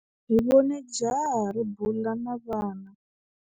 Hi vone jaha ri bula na vana.